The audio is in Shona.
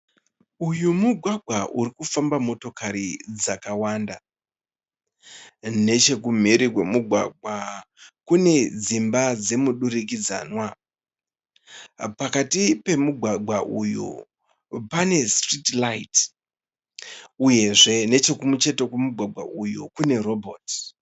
Uyu mugwagwa urikufamba motokari dzakawanda. Nechekumhiri kwemugwagwa kune dzimba dzemudurikidzanwa. Pakati pemugwagwa uyu pane sitiriti raiti, uyezve nechekucheto kwemugwagwa uyu kune robhoti.